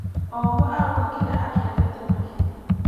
O ũmwe arauga kĩrĩa akĩendete makĩria.